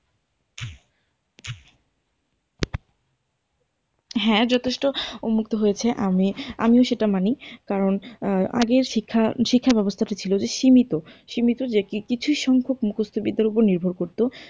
হ্যাঁ যথেষ্ট উন্নত হয়েছে আমি আমিও সেটা মানি, কারণ আগের শিক্ষা শিক্ষাব্যবস্থাটা ছিল যে সীমিত। সীমিত যে কিছু সংখ্যক মুখস্থ বিদ্যার উপর নির্ভর করত।